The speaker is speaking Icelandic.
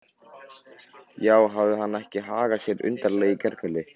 Já, hafði hann ekki hagað sér frekar undarlega í gærkvöld?